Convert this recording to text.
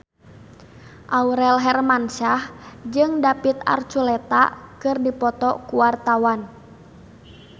Aurel Hermansyah jeung David Archuletta keur dipoto ku wartawan